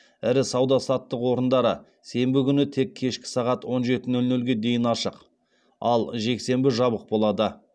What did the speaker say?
ірі сауда саттық орындары сенбі күні тек кешкі сағат он жеті нөл нөлге дейін ашық ал жексенбі жабық болады